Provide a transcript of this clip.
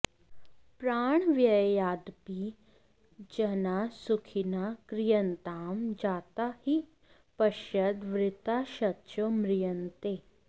प्राणव्ययादपि जनाः सुखिनः क्रियन्तां जाता हि पश्यत वृथा शतशो म्रियन्ते